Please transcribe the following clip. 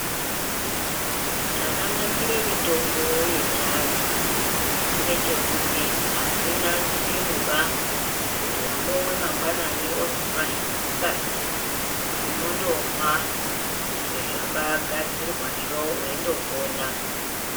Zvakanakire mitombo yechiandu ngechekuti hazvina chipimobaa kuti wambomwe mangwanani wozomwahee masikati unondomwa zvakagadzirwazvo weindopona.